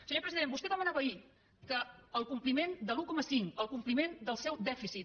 senyor president vostè demanava ahir que el compliment de l’un coma cinc el compliment del seu dèficit